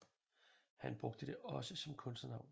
Han brugte det også som kunstnernavn